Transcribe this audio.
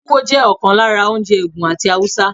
Tuwo jẹ́ ọ̀kan lára oúnjẹ Ègùn àti Haúsá.